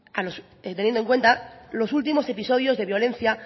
teniendo en cuenta los últimos episodios de violencia